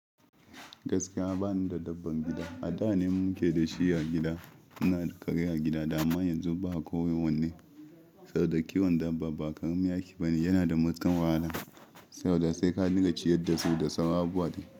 Gaskiya bani da dabban gida, a da ne muke da shi a gida. Muna da kare a gida amma yanzu ba ko wanne. Sau da kiwon dabba ba ƙarami aiki ba ne, yana da matuƙar wahala. Sau da sai ka rinƙa ciyar da su da saura abubuwa dai.